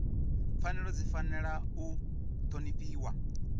pfanelo dzi fanela u ṱhonifhiwa